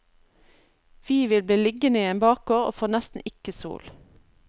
Vi vil bli liggende i en bakgård og får nesten ikke sol.